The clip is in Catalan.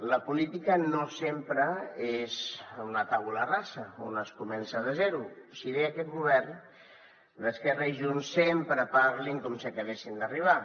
la política no sempre és una tabula rasa on es comença de zero si bé aquest govern d’esquerra i junts sempre parlin com si acabessin d’arribar